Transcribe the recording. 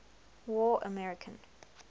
war american